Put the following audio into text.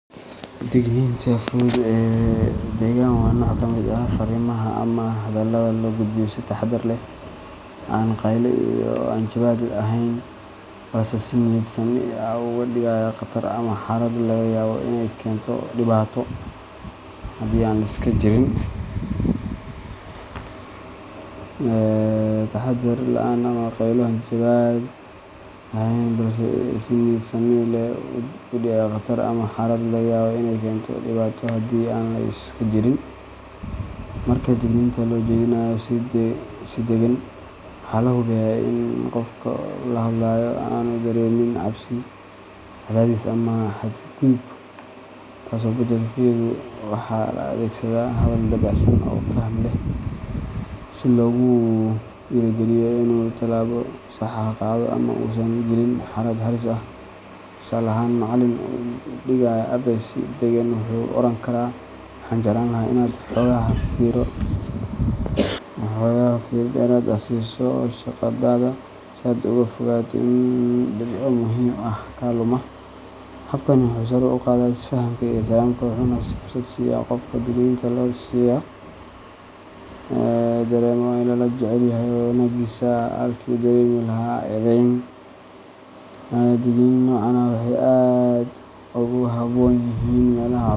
Digniinta fudud ee deggan waa nooc ka mid ah fariimaha ama hadallada loo gudbiyo si taxaddar leh, aan qaylo iyo hanjabaad ahayn, balse si niyad sami leh uga digaya khatar ama xaalad laga yaabo in ay keento dhibaato haddii aan la iska jirin. Marka digniinta loo jeedinayo si deggan, waxaa la hubiyaa in qofka la hadlayo aanu dareemin cabsi, cadaadis ama xadgudub, taas beddelkeeda waxa la adeegsadaa hadal dabacsan oo faham leh, si loogu dhiirrigeliyo inuu tallaabo sax ah qaado ama uusan gelin xaalad halis ah. Tusaale ahaan, macallin u digaya arday si deggan wuxuu oran karaa: "Waxaan jeclaan lahaa inaad xoogaa fiiro dheeraad ah siiso shaqadaada, si aad uga fogaato in dhibco muhiim ah kaa luma." Habkani wuxuu sare u qaadaa isfahamka iyo ixtiraamka, wuxuuna fursad siiya qofka digniinta loo dirayo inuu dareemo in lala jecel yahay wanaaggiisa, halkii uu ka dareemi lahaa eedeyn. Digniinaha noocan ah waxay aad ugu habboon yihiin meelaha waxbarashada.